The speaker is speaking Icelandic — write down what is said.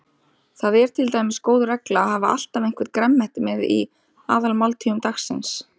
Það er til dæmis góð regla að hafa alltaf eitthvert grænmeti með í aðalmáltíðum dagsins.